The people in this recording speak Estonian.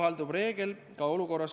a. Meil on aega arutada.